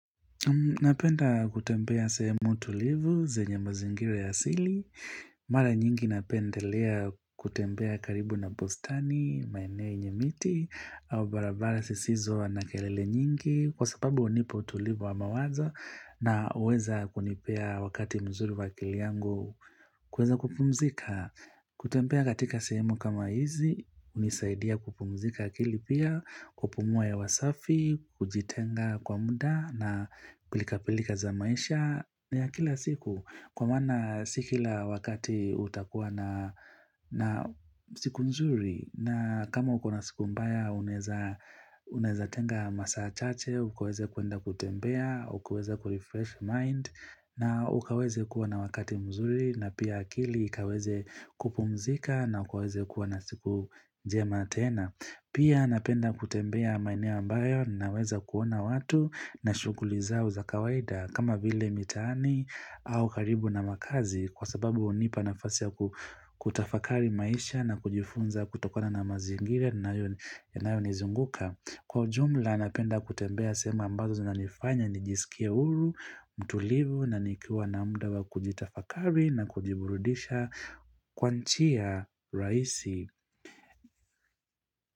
Napenda kutembea sehemu tulivu, zenye mazingira ya asili, mara nyingi napendelea kutembea karibu na bustani, maineo yenye miti, au barabara sisizo na kerele nyingi, kwa sababu hunipa utulivu wa mawazo na huweza kunipea wakati mzuri wa akili yangu kuweza kupumzika. Kutembea katika sehemu kama hizi, hunisaidia kupumzika akili pia, kupumua hewa safi, kujitenga kwa muda na pilikapilika za maisha na ya kila siku Kwa mana si kila wakati utakuwa na na siku nzuri na kama uko na siku mbaya uneza unezatenga masaa chache, ukaweze kuenda kutembea, ukaweze kurefresh mind na ukaweze kuwa na wakati mzuri na pia akili ukaweze kupumzika na ukaweze kuwa na siku njema tena. Pia napenda kutembea maineu ambayo naweza kuona watu na shughuli zao za kawaida kama vile mitaani au karibu na makazi kwa sababu hunipa nafasi ya kutafakari maisha na kujifunza kutokona na mazingira yanayonizunguka. Kwa ujumla napenda kutembea sehemu ambazo zinanifanya nijisikie huru, mtulivu na nikiwa na muda wa kujitafakari na kujiburudisha kwa njia rahisi.